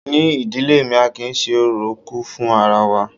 Ní ìdílé mi, a kì í ṣé ọ̀rọ̀ kù fún ara wa.